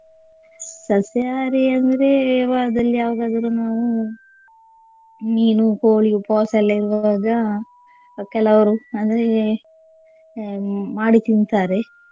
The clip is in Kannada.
ಸಸ್ಯಹಾರಿ ಅಂದ್ರೆ ವಾರದಲ್ಲಿ ಯಾವಾಗಾದರೂ ನಾವು ಮೀನು, ಕೋಳಿ ಉಪವಾಸ ಎಲ್ಲ ಇರುವಾಗ ಕೆಲವರು ಅಂದ್ರೆ ಅಹ್ ಮಾಡಿ ತಿಂತಾರೆ.